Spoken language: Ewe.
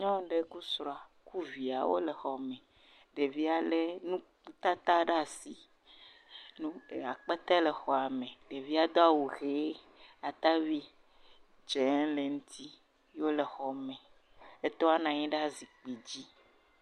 Nyɔnu ɖe kple srɔ̃a kple via wole xɔ me. Ɖevia le nutata ɖe asi. Nu akpete le xɔa me. Ɖevia do awu ʋie, atavi dze le eŋuti ye wole xɔ me. Etɔa na nyi ɖe zikpui dzi.